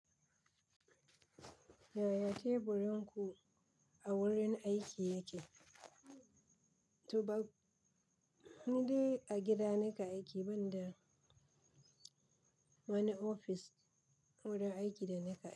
Yaya teburin ku a wurin aiki yake? To ba ni dai a gida nake aiki banda wani ofis wurin aiki da nake aiki.